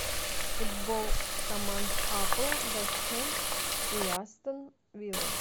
футбол команд апл вест хэм и астон вилла